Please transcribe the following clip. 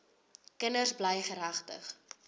kinders bly geregtig